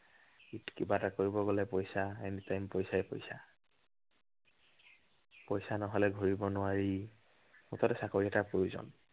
কিবা এটা কৰিব গলে পইচা। any time পইচাই পইচা। পইচা নহলে ঘূৰিব নোৱাৰি। মুঠতে চাকৰি এটাৰ প্ৰয়োজন।